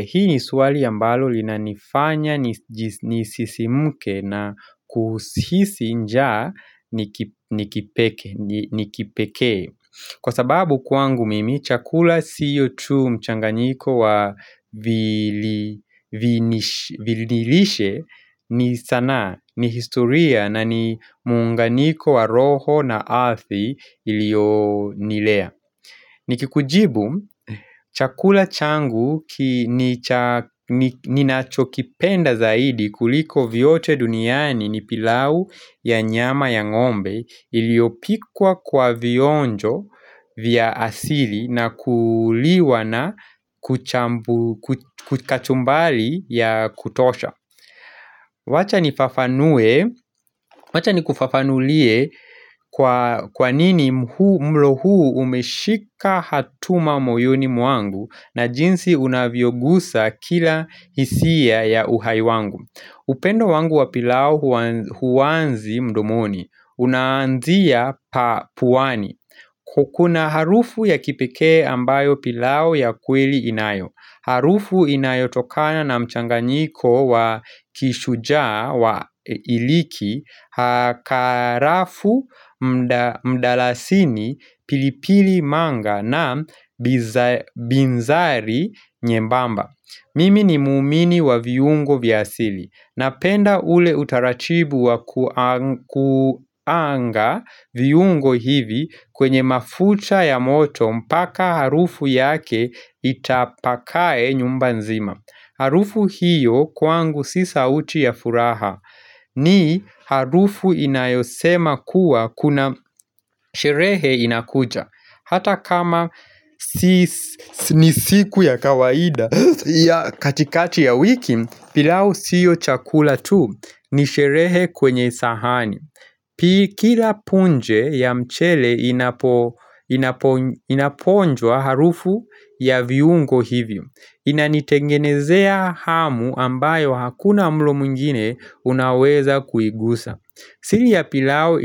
Hii ni swali ambalo linanifanya nisisimke na kuhisi njaa ni kipekee Kwa sababu kwangu mimi, chakula sio tu mchanganiko wa vililishe ni sanaa ni historia na ni muunganiko wa roho na arthi ilio nilea Nikikujibu chakula changu ninacho kipenda zaidi kuliko vyote duniani ni pilau ya nyama ya ng'ombe iliopikwa kwa vionjo vya asili na kuliwa na kuchambu kachumbali ya kutosha wacha nikufafanulie kwa nini mlo huu umeshika hatuma moyoni mwangu na jinsi unavyogusa kila hisia ya uhai wangu upendo wangu wa pilau huwanzi mdomoni unaanzia pa puwani Kukuna harufu ya kipekee ambayo pilau ya kweli inayo Harufu inayotokana na mchanganyiko wa kishujaa wa iliki hakarafu mdalasini, pilipili manga na binzari nyembamba. Mimi ni muumini wa viungo vya asili. Napenda ule utarachibu wa kuanga viungo hivi kwenye mafuta ya moto mpaka harufu yake itapakae nyumba nzima. Harufu hiyo kwangu si sauti ya furaha ni harufu inayosema kuwa kuna sherehe inakuja. Hata kama ni siku ya kawaida ya katikati ya wiki pilau siyo chakula tu ni sherehe kwenye sahani. Kila punje ya mchele inaponjwa harufu ya viungo hivyo. Inanitengenezea hamu ambayo hakuna mlo mwingine unaweza kuigusa. Sili ya pilau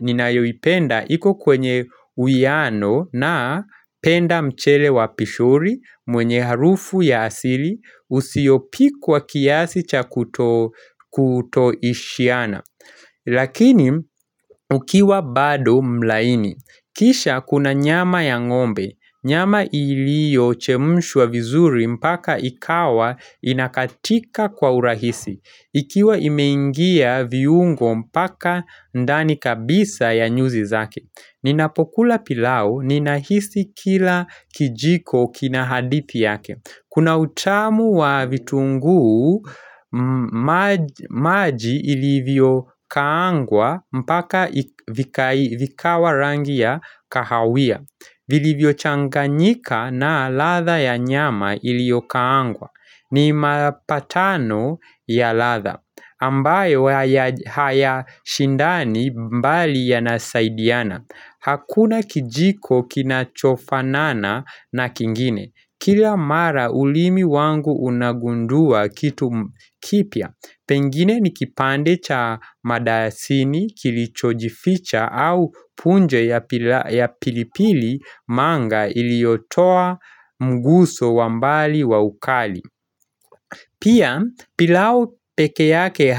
ninayoipenda iko kwenye wiano na penda mchele wa pishori mwenye harufu ya asili usiopikwa kiasi cha kuto ishiana. Lakini ukiwa bado mlaini, kisha kuna nyama ya ng'ombe, nyama ilio chemshwa vizuri mpaka ikawa inakatika kwa urahisi, ikiwa imeingia viungo mpaka ndani kabisa ya nyuzi zake. Ninapokula pilau ninahisi kila kijiko kina hadithi yake. Kuna utamu wa vitunguu maji ilivyo kaangwa mpaka vikawa rangi ya kahawia. Vilivyo changanyika na latha ya nyama iliokaangwa. Ni mapatano ya latha. Ambayo haya shindani mbali yanasaidiana. Hakuna kijiko kinachofanana na kingine. Kila mara ulimi wangu unagundua kitu kipya, pengine ni kipande cha madasini kilichojificha au punje ya pilipili manga iliotoa mguso wa mbali wa ukali. Pia pilau peke yake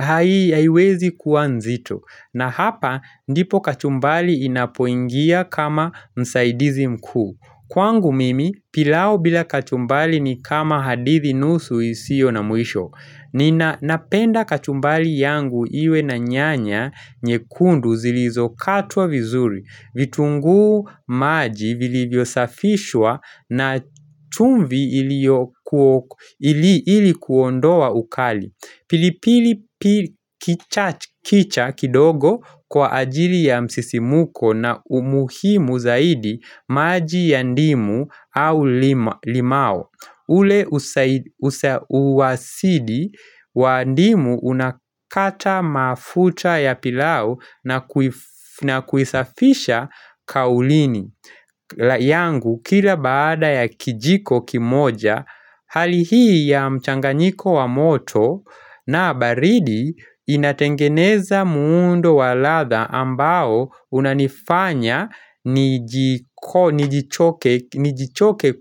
haiwezi kua nzito na hapa ndipo kachumbali inapoingia kama msaidizi mkuu. Kwangu mimi, pilau bila kachumbali ni kama hadithi nusu isio na mwisho. Nina napenda kachumbali yangu iwe na nyanya nyekundu zilizokatwa vizuri, vitunguu maji vilivyo safishwa na chumvi ili kuondoa ukali. Pilipili kicha kidogo kwa ajili ya msisimuko na umuhimu zaidi maji ya ndimu au limao. Ule usawasidi wa ndimu unakata mafuta ya pilau na kuisafisha kaulini. La yangu kila baada ya kijiko kimoja hali hii ya mchanganyiko wa moto na baridi inatengeneza muundo wa latha ambao unanifanya nijichoke.